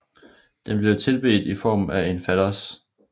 Den blev tilbedt i form af en fallos